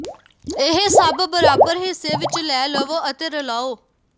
ਇਹ ਸਭ ਬਰਾਬਰ ਹਿੱਸੇ ਵਿੱਚ ਲੈ ਲਵੋ ਅਤੇ ਰਲਾਉ